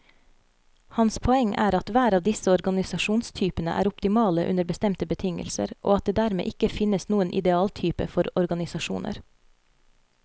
Hans poeng er at hver av disse organisasjonstypene er optimale under bestemte betingelser, og at det dermed ikke finnes noen idealtype for organisasjoner.